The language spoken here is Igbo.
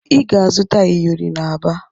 Ị ga-azụta iyori n'Aba